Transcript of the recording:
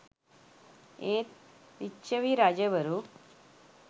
ඒත් ලිච්ඡවී රජවරු